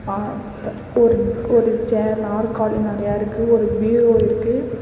ஆஅத் ஒரு ஒரு சே நாற்காலி நறைய இருக்கு ஒரு பீரோ இருக்கு.